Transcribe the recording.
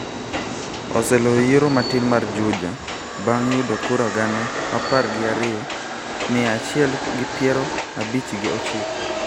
oseloyo yiero matin mar Juja bang' yudo kura gana apar gi ariyo, mia achiel gi piero abich gi ochiko